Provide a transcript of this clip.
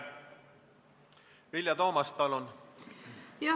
Vilja Toomast, palun!